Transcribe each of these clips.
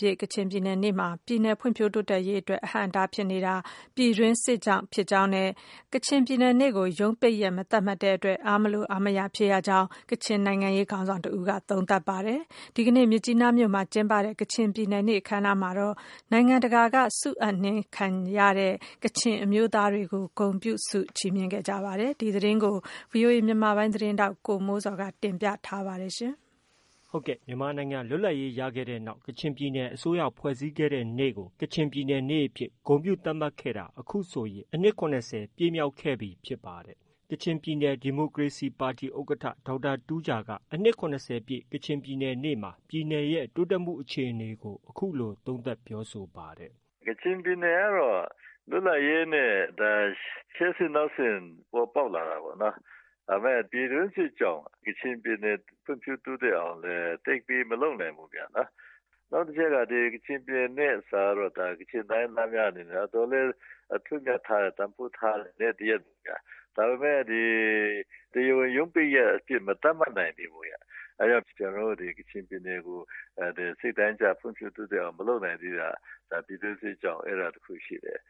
ပြည့် ကချင်ပြည်နယ်နေ့မှာ ပြည်နယ်ဖွံ့ဖြိုးတိုးတက်ရေးအတွက် အဟန့်အတားဖြစ်နေတာ ပြည်တွင်းစစ်ကြောင့်ဖြစ်ကြောင်းနဲ့ကချင်ပြည်နယ်နေ့ကို ရုံးပိတ်ရက် မသတ်မှတ်တဲ့အတွက် အားမလိုအားမရဖြစ်ရကြောင်း ကချင်နိုင်ငံရေးခေါင်းဆောင်တဦးက သုံးသပ်ပါတယ်။ ဒီကနေ့ မြစ်ကြီးနားမြို့မှာ ကျင်းပတဲ့ ကချင်ပြည်နယ်နေ့အခမ်းအနားမှာတော့ နိုင်ငံတကာက ဆုအပ်နှင်းခံရတဲ့ ကချင်အမျိုးသားတွေကို ဂုဏ်ပြုဆုချီးမြှင့်ခဲ့ကြပါတယ်။ ဒီသတင်းကို ဗွီအိုအေမြန်မာပိုင်းရဲ့သတင်းထောက် ကိုမိုးဇော်က တင်ပြထားပါတယ်။ မြန်မာနိုင်ငံလွတ်လပ်ရေးရခဲ့တဲ့နောက်ကချင်ပြည်နယ်အစိုးရဖွဲ့စည်းခဲ့တဲ့နေ့ကိုကချင်ပြည်နေ့ အဖြစ် ဂုဏ်ပြုသတ်မှတ်ခဲ့တာ အခုဆိုရင် အနှစ် ၇၀ ပြည့်မြောက်ခဲ့ပြီဖြစ်ပါတယ်။ ကချင်ပြည်နယ် ဒီမိုကရေစီပါတီဥက္ကဌ ဒေါက်တာ တူးဂျာက အနှစ်၇၀ပြည့် ကချင်ပြည်နယ်နေ့မှာ ပြည်နယ်ရဲ့ တိုးတက်မှုအခြေအနေအပေါ် အခုလို သုံးသပ်ပြောဆိုပါတယ်။ “ကချင်ပြည်နယ်ကတော့ လွတ်လပ်ရေးနဲ့ ရှေ့ဆင့်နောက်ဆင့်ပေါ်ပေါက်လာတာပေါ့နော်။ ဒါပေမယ့် ပြည်တွင်းစစ်ကြောင့် ကချင်ပြည်နယ် ဖွံ့ဖြိုးတိုးတက်အောင်လည်း သိပ်ပြီးမလုပ်နိုင်ဘူးပေါ့နော်။ နောက်တချက်က ကချင်ပြည်နယ်နေ့ဆိုတာကတော့ ကချင်တိုင်းရင်းသားများအနေနဲ့ တော်တော်လေး အထွဏ်အမြတ်ထားတဲ့ တန်ဖိုးထားတဲ့ နေ့တရပ် ဖြစ်တယ် ဒါပေမယ့် ဒီ တရားဝင်ရုံးပတ်ရက်အဖြစ်မသတ်မှတ်နိုင်သေးဘူး။ ဒါကြောင့် ကျနော်တို့ ကချင်ပြည်နယ်ကို စိတ်တိုင်းကျ ဖွံ့ဖြိုးတိုးတက်အောင် မလုပ်နိုင်တာက ပြည်တွင်းစစ်ကြောင့်ဖြစ်တယ်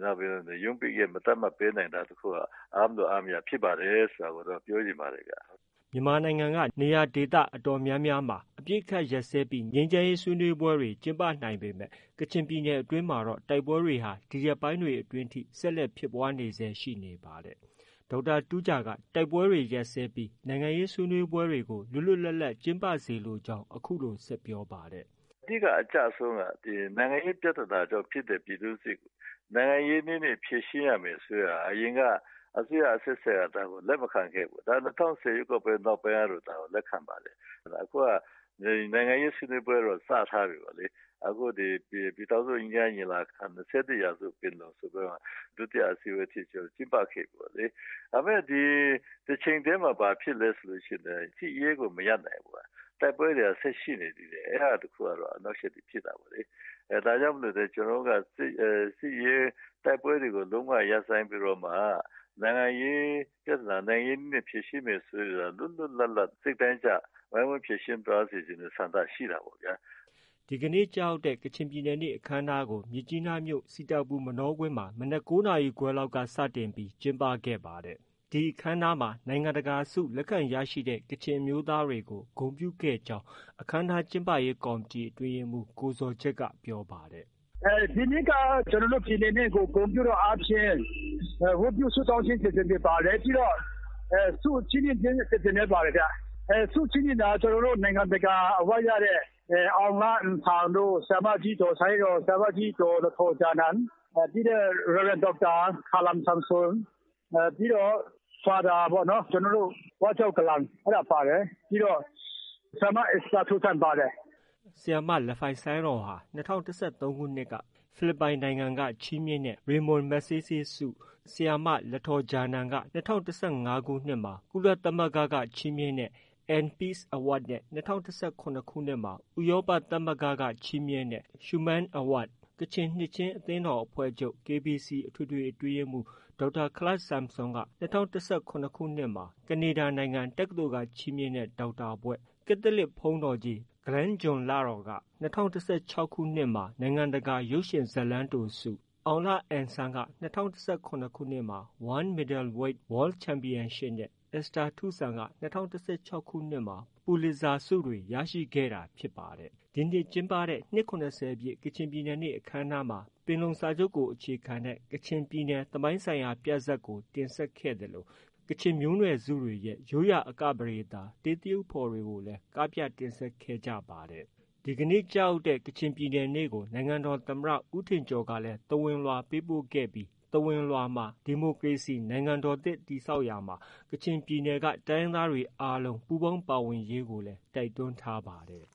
။ နောက်ရုံးပိတ်ရက် မသတ်မှတ်နိုင်ဘူးဆိုတာက အားမလိုအားမရဖြစ်ပါတယ်ဆိုတာကို ပြောချင်ပါတယ်။” မြန်မာနိုင်ငံက နေရာဒေသအတော်များများမှာ အပစ်အခတ်ရပ်စဲပြီး ငြိမ်းချမ်းရေးဆွေးနွေးပွဲတွေကျင်းပနိုင်ပေမဲ့ ကချင်ပြည်နယ်အတွင်းမှာတော့ တိုက်ပွဲတွေဟာ ဒီရက်ပိုင်းတွေအတွင်းထိ ဆက်လက်ဖြစ်ပွားနေဆဲ ရှိနေပါတယ်။ ဒေါက်တာတူးဂျာက တိုက်ပွဲတွေရပ်စဲပြီး နိုင်ငံရေးဆွေးနွေးပွဲတွေကို လွတ်လွတ်လပ်လပ်ကျင်းပစေလိုကြောင်း အခုလို ဆက်ပြောပါတယ်။ “အဓိကအကျဆုံးကတော့ နိုင်ငံရေးပြဿနာကြောင့်ဖြစ်တဲ့ ပြည်တွင်းစစ်ကို နိုင်ငံရေးနည်းနဲ့ ဖြေရှင်းရမယ်ဆိုတာကို အရင်ကအစိုးရအဆက်ဆက်က လက်မခံခဲ့ဘူး။ ၂၀၁၀ ရွေးကောက်ပွဲ နောက်ပိုင်းက ဒါကို လက်ခံပါတယ် အခုက နိုင်ငံရေးဆွေးနွေးပွဲကတော့ စထားပြီပေါ့နော် အခုဒီ ပြည်ထောင်စု ငြိမ်းချမ်းရေးညီလာခံ ၂၁ ရာစုပင်လုံ ဒုတိယအစည်းအဝေးထိ ကျင်းပခဲ့ပြီပေါ့နော်။ ဒါပေမယ့် တချိန်တည်းမှာ ဘာဖြစ်လဲဆိုရင် စစ်ရေးကို မရပ်နိုင်ဘူး တိုက်ပွဲတွေက ဆက်ရှိနေတယ် ဒါကြောင့်မို့လို့ ကျနော်တို့ က တိုက်ပွဲတွေကို လုံးဝရပ်ဆိုင်းပြီးတော့ နိုင်ငံရေးပြဿနာ နိုင်ငံရေးနည်းနဲ့ ဖြေရှင်းမယ်ဆိုရင် လွတ်လွတ်လပ်လပ် ဝိုင်းဝန်းဖြေရှင်းသွားစေချင်တဲ့ စိတ်ဓါတ်ရှိတာပေါ့လေ။” ဒီကနေ့ ကျရောက်တဲ့ ကချင်ပြည်နယ်နေ့အခမ်းအနားကိုတော့မြစ်ကြီးနားမြို့ စီတာပူမနောကွင်းမှာ မနက် ၉နာရီခွဲလောက်က စတင်ကျင်းပခဲ့ပါတယ်။ ဒီအခမ်းအနားမှာ နိုင်ငံတကာ ဆုလက်ခံရရှိတဲ့ ကချင်အမျိုးသားတွေကို ဂုဏ်ပြုခဲ့ကြောင်း အခမ်းအနား ကျင်းပရေးကော်မတီ အတွင်းရေးမှုး ကိုဇော်ဂျက်က ပြောပါတယ်။ “ဒီနှစ်က ကျနော်တို့ ပြည်သူတွေကို ဂုဏ်ပြုသောအားဖြင့် ဝတ်ပြုဆုတောင်းခြင်းအစီအစဉ်တွေပါတယ် ပြီးတော့ ဆုချီးမြင့်ခြင်းအစီအစဉ်တွေပါတယ်။ ဆုချီးမြင့်တာကတော့ ကျနော်တို့ နိုင်ငံတကာဆုရတဲ့ အောင်လအင်ဆန်တို့ ၊ ဆရာမကြီးဒေါ်ဆိုင်းရော်၊ ဆရာမကြီးလထော်ဂျာနန် ပြီးတော့ ဒေါက်တာခလမ်ဆမ်ဆွန် ပြီးတော့ ကက်သလစ်ဘုန်းတော်ကြီး ဂလန်ဂျွန်လရော်တို့ ပြီးတော့ ဆရာမ အက်စတာထုဆန်ပါတယ်။” ဆရာမလဖိုင်ဆိုင်ရော်ဟာ ၂၀၁၃ခုနှစ်မှာ ဖိလစ်ပိုင်နိုင်ငံက ချီးမြှင့်တဲ့ Ramon Magsaysay ဆု၊ ဆရာမ လထော်ဂျာနန်က ၂၀၁၅မှာ ကုလသမဂ္ဂက ချီးမြှင့်တဲ့ N-Peace Award နဲ့ ၂၀၁၇မှာ ဥရောပသမဂ္ဂက ချီးမြှင့်တဲ့ Schuman award၊ ကချင်နှစ်ခြင်းအသင်းတော်အဖွဲ့ချုပ် အထွေထွေ အတွင်းရေးမှူး ဒေါက်တာခလမ်ဆမ်ဆွန်က ၂၀၁၇မှာ ကနေဒါနိုင်ငံ တက္ကသိုလ်က ချီးမြှင့်တဲ့ ဒေါက်တာဘွဲ့၊ ကက်သလစ်ဘုန်းတော်ကြီး ဂလန်ဂျွန်လရော်က ၂၀၁၆မှာ နိုင်ငံတကာရုပ်ရှင်ဇာတ်လမ်းတိုဆု၊ အောင်လအင်ဆန်းက ၂၀၁၇မှာ One Meiddleweight World Champaion နဲ့ အက်စတာထုဆန်က ၂၀၁၆ခု ပူလစ်ဇာဆုတွေ ရခဲ့တာဖြစ်ပါတယ်။ ဒီနေ့ကျင်းပတဲ့ နှစ်၇၀ပြည့် ကချင်ပြည်နယ်နေ့ အခမ်းအနားမှာ ပင်လုံစာချုပ်ကို အခြေခံတဲ့ ကချင်ပြည်နယ်သမိုင်းဆိုင်ရာပြဇာတ်ကို တင်ဆက်ခဲ့သလို ကချင်မျိုးနွယ်စုတွေရဲ့ ရိုးရာအကပဒေသာ တေးသရုပ်ဖော်တွေလည်း ကပြတင်ဆက်ခဲ့ကြပါတယ်။ ဒီနေ့ကျရောက်တဲ့ ကချင်ပြည်နယ်နေ့ကို နိုင်ငံတော်သမ္မတ ဦးထင်ကျော်ကလည်း သဝဏ်လွှာပေးပို့ခဲ့ပြီး သဝဏ်လွှာမှာ ဒီမိုကရေစီနိုင်ငံတော်သစ်တည်ဆောက်ရာမှာ ကချင်ပြည်နယ်က တိုင်းရင်းသားများအားလုံး ပူးပေါင်းပါဝင်ရေးကိုလည်း တိုက်တွန်းထားပါတယ်